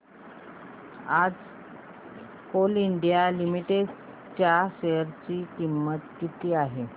आज Coal India Limited च्या share ची किंमत किती आहे